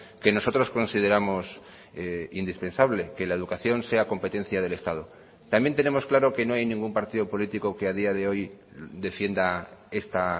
que nosotros consideramos indispensable que la educación sea competencia del estado también tenemos claro que no hay ningún partido político que a día de hoy defienda esta